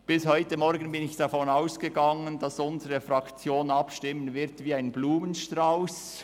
Bis heute Morgen bin ich davon ausgegangen, dass unsere Fraktion abstimmen wird wie ein bunter Blumenstrauss.